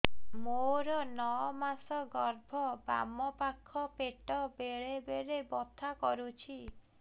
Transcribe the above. ମୋର ନଅ ମାସ ଗର୍ଭ ବାମ ପାଖ ପେଟ ବେଳେ ବେଳେ ବଥା କରୁଛି